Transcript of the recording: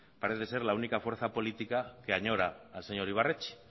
parece ser la única fuerza política que añora al señor ibarretxe